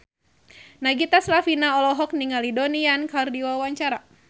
Nagita Slavina olohok ningali Donnie Yan keur diwawancara